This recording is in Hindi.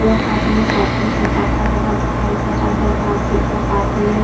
एक आदमी साइकिल से जाता हुया दिखाई दे रहा है। पास ही एक आदमी --